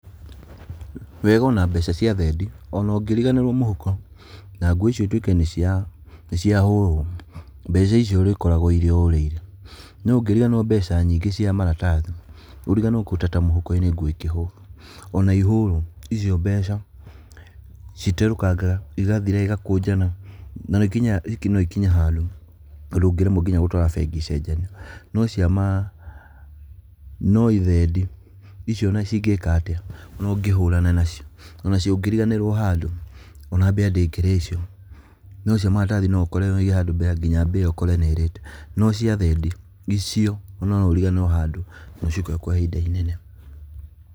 Wega ona mbeca cia thendi, ona ũngĩriganĩrwo mũhuko, na nguo icio itwĩke nĩcia, nĩciahũrwo, mbeca icio ũríkoraga irĩ o ũrĩa irĩ, no ũngĩriganĩrwo mbeca nyingĩ cia maratathi, ũriganĩrwo ta kũruta mũhuko-inĩ nguo ikĩhũrwo, ona ihũrwo, icio mbeca citerũkangaga igathira igakũnjana na rĩnginya ikinye handũ ũndũ ũngĩremwo nginya gũtwara bengi icenjanio, no cia ma, no thendi icio ona ũngĩka atĩa ona ũngĩhũrana nacio, onacio ũngĩriganĩrwo handũ ona mbĩa ndĩngĩrĩa icio, no cia maratathi noũkorere waiga handũ nginya mbĩa ũkore nĩirĩte, no cia thendi, icio, ona noũriganĩrwo handũ nocikore kwa ihinda inene.